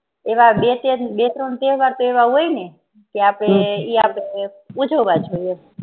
એવા બે ત્રણ એવા તહેવાર એવા હોય ને તે આપડે ઇ આપડે ઉજવા જોઈ